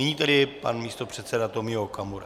Nyní tedy pan místopředseda Tomio Okamura.